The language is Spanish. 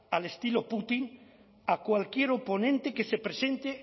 al estilo putin a cualquier oponente que se presente